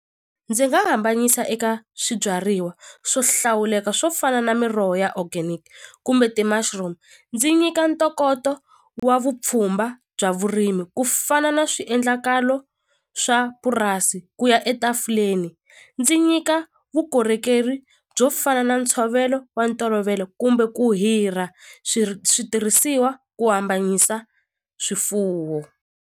Ndzi nga hambanyisa eka swibyariwa swo hlawuleka swo fana na miroho ya organic kumbe ti-mushroom ndzi nyika ntokoto wa vupfhumba bya vurimi ku fana na swiendlakalo swa purasi ku ya etafuleni ndzi nyika vukorhokeri byo fana na ntshovelo wa ntolovelo kumbe ku hirha switirhisiwa ku hambanyisa swifuwo.